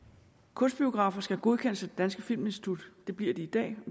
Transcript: kunstbiografer skal godkendes af det danske filminstitut det bliver de i dag